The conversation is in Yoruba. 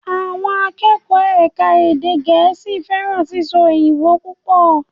Àwọn akẹ́kọ̀ọ́ ẹ̀ka èdè gẹ̀ẹ́sì fẹ́ràn sísọ òyìnbó púpọ̀